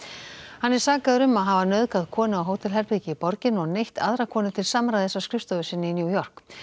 hann er sakaður um að hafa nauðgað konu á hótelherbergi í borginni og neytt aðra konu til samræðis á skrifstofu sinni í New York